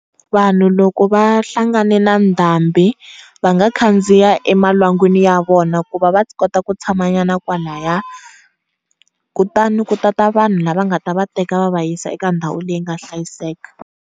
Vanhu loko va hlanganile na ndhambi va nga khandziya emalwangwini ya vona ku va va kota ku tshamanyana kwalayani, kutani ku ta ta vanhu lava nga ta va teka va va yisa eka ndhawu leyi nga hlayiseka.